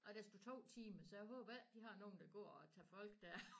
Og der stod 2 timer så jeg håber ikke de har nogen der går og tager folk dér